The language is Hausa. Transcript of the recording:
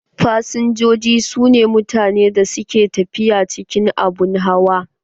Fasinjoji su ne mutanen da ke tafiya cikin abun hawa.